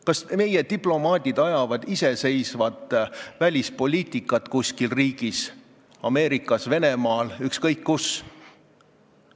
Kas meie diplomaadid ajavad iseseisvat välispoliitikat mõnes riigis Ameerikas, Venemaal, ükskõik kus?